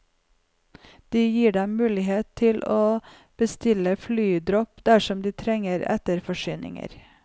Det gir dem mulighet for å bestille flydropp dersom de trenger etterforsyninger.